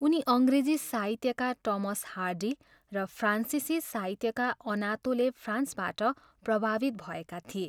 उनी अङ्ग्रेजी साहित्यका टमस हार्डी र फ्रान्सिसी साहित्यका अनातोले फ्रान्सबाट प्रभावित भएका थिए।